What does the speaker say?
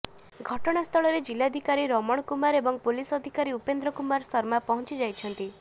ଘଟଣାସ୍ଥଳରେ ଜିଲାଧିକାରୀ ରମଣ କୁମାର ଏବଂ ପୁଲିସ ଅଧୀକ୍ଷକ ଉପେନ୍ଦ୍ର କୁମାର ଶର୍ମା ପହଁଚିଯାଇଛନ୍ତି